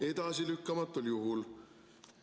"Edasilükkamatul juhul ...